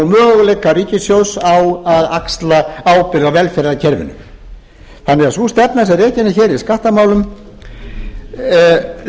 möguleika ríkissjóðs á að axla ábyrgð á velferðarkerfinu þannig að sú stefna sem rekin er í skattamálum